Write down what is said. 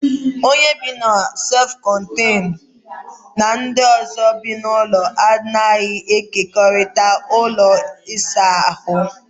Onye bị na sef kọnteñu na ndị ọzọ bi n'ụlọ a naghị e kekorịta ụlọ ịsa ahụ